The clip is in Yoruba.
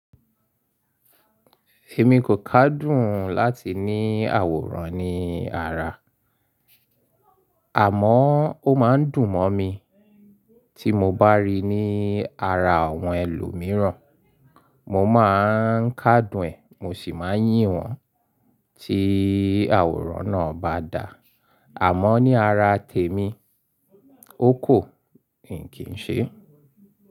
Èmi kò kádùn láti ní àwòrán ní ara, àmọ́ ó máa ń dùn mọ́ mi tí mo bá ríi ní ara àwọn ẹlòmíràn. Mo máà ń kádùn ẹ̀, mo sì máa ń yìn wọ́n tí àwòrán náà bá dà. Àmọ́ ní ara tèmi, ó kù ni kì í ṣe.